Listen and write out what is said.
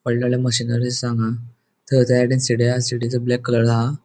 वडले वडले मशीनरी असा हांगा. हा ब्लैक कलर हा.